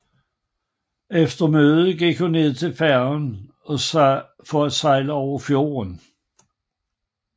Efter mødet gik hun ned til færgen for at sejle over fjorden